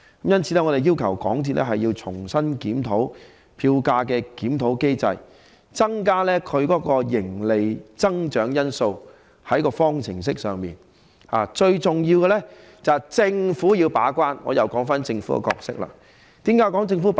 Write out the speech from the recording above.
因此，我們要求港鐵重新檢討票價檢討機制，在方程式內加入營利增長這一項因素，而最重要的是由政府把關——我又談論政府的角色了——為何要提及政府把關？